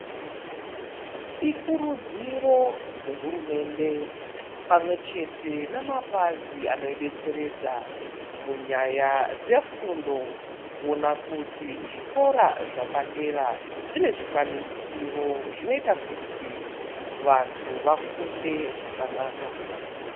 Ikurudziro dzehurumende pamwechete nemapazi anoidetseredza munyaya dzefundo kuona kuti zvikora zvepadera zvine zvikwanisiro zvinoita kuti vantu vafunde zvakanaka.